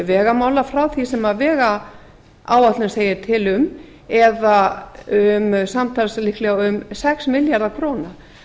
vegamála frá því sem vegáætlun segir til um eða samtals líklega um sex milljarða króna